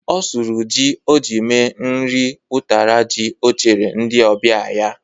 Ọ sụrụ ji o ji mee nri ụtara ji o chere ndị ọbịa ya.